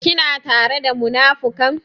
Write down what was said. Kina tare da munafukan?